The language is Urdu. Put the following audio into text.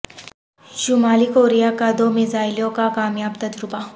شمالی کوریا کا دو میزائلوں کا کامیاب تجربہ